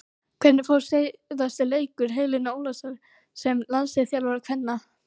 Hvernig fór síðasti leikur Helenu Ólafsdóttur sem landsliðsþjálfari kvenna?